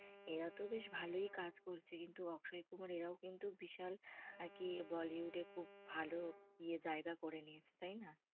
এরা তো বেশ ভালোই কাজ করছে। কিন্তু অক্ষয় কুমার এরাও কিন্তু বিশাল আর কি bollywood এ খুব ভাল এ জায়গা করে নিয়েছে তাই না।